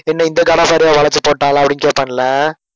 என்ன இந்த god of வாரை வளைச்சு போட்டாளா அப்படின்னு கேப்பான்ல